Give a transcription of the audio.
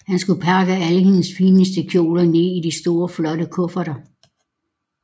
Han skulle pakke alle hendes fineste kjoler ned i de store flotte kufferter